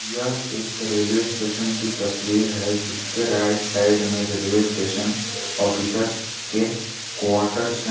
यह एक railway station की तस्वीर है जिसके राइट साइड में रेलवे स्टेशन ऑफिसर्स के क्वार्टरस है।